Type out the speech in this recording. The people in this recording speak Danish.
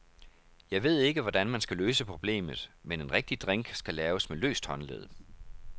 Jeg ved ikke, hvordan man skal løse problemet, men en rigtig drink skal laves med løst håndled.